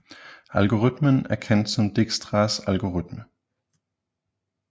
Algoritmen er kendt som Dijkstras algoritme